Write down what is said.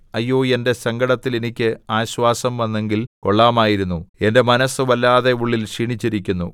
അയ്യോ എന്റെ സങ്കടത്തിൽ എനിക്ക് ആശ്വാസം വന്നെങ്കിൽ കൊള്ളാമായിരുന്നു എന്റെ മനസ്സു വല്ലാതെ ഉള്ളിൽ ക്ഷീണിച്ചിരിക്കുന്നു